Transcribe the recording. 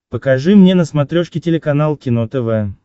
покажи мне на смотрешке телеканал кино тв